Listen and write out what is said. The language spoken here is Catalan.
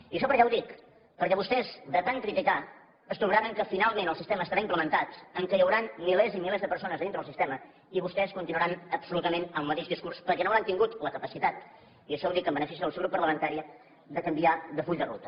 i això per què ho dic perquè vostès de tant criticar es trobaran que finalment el sistema estarà implementat que hi hauran milers i milers de persones dintre el sistema i vostès continuaran absolutament amb el mateix discurs perquè no hauran tingut la capacitat i això ho dic en benefici del seu grup parlamentari de canviar de full de ruta